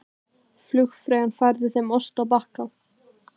Flugfreyjan færði þeim ost á bakka.